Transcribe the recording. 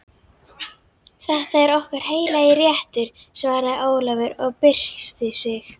Þetta er okkar heilagi réttur, svaraði Ólafur og byrsti sig.